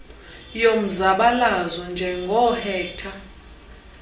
yomzabalazo njengoo hector